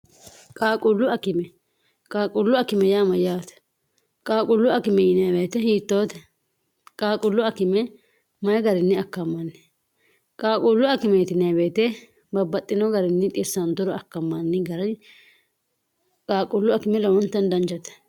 Qaaqqulu akime. Qaaqqulu akime yaa mayyaate? Qaaqqulu akime yinayii woyiite hiittote? Qaaqqulu akime mayii garri akkamanni? Qaaqqulu akimeti yinanni woyiite babbaxino garinni xissanturo akamanni gari Qaaqqulu akime lowontanni danchate.